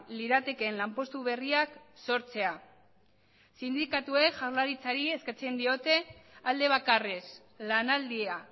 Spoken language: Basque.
liratekeen lanpostu berriak sortzea sindikatuek jaurlaritzari eskatzen diote alde bakarrez lanaldia